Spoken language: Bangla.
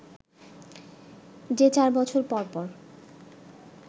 যে চার বছর পর পর